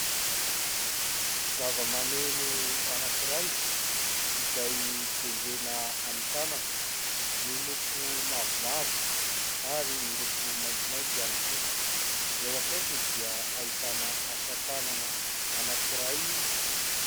Zavamaneno anankiray izay tendrena amin'ny tanana, miloko mavomavo ary miloko maintimainty ihany koa, eo akaikiny dia ahitana asa-tanana anankiray.